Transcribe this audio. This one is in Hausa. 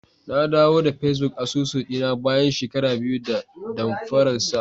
Nadawo da Facebook asusu dina bayan shekara biyu da damfararsa.